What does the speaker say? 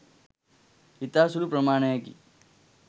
ඉතා සුළු ප්‍රමාණයකි.